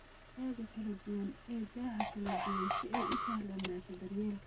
Digaaga kala duwan ee da'aha kala duwan si ay u sahlanaato daryeelka.